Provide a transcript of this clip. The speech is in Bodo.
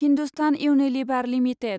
Hindustan Unilever limited